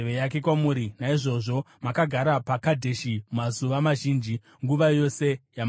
Naizvozvo makagara paKadheshi mazuva mazhinji, nguva yose yamakagarapo.